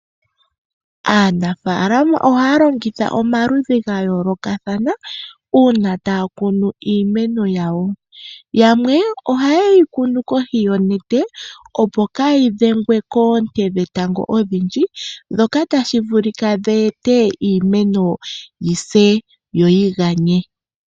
Aanafaalama ohaa longitha omaludhi ga yoolokathana una taa kunu iimeno yawo. Yamwe ohaye yi kunu kohi yonete opo kaa yi dhengwe koonte dhetango odhindji ndhoka tadhi eta yi se yo yi ganye.